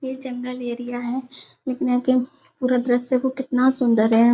ये जंगल एरिया है। लेकिन पूरा दृश्य को कितना सुंदर है।